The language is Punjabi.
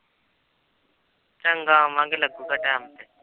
ਚੰਗਾ ਆਵਾਂਗੇ ਲੱਗੇਗਾ time